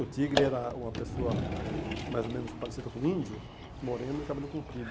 O Tigre era uma pessoa mais ou menos parecida com um índio, moreno e cabelo comprido.